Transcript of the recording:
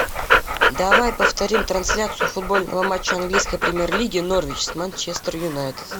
давай повторим трансляцию футбольного матча английской премьер лиги норвич с манчестер юнайтед